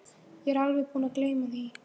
Ég var alveg búin að gleyma því.